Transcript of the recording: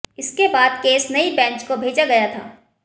इसके बाद केस नई बेंच को भेजा गया था